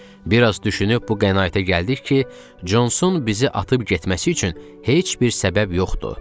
Bir az düşünüb bu qənaətə gəldik ki, Consun bizi atıb getməsi üçün heç bir səbəb yoxdur.